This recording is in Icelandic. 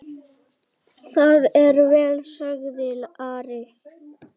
Það er vel, sagði Ari.